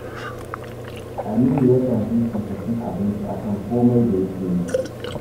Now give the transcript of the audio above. Aminu yakan fifita cin abinci a kan komai da yake yi